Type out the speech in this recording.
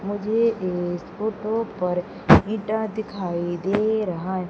मुझे इस फोटो पर ईंटा दिखाई दे रहा है।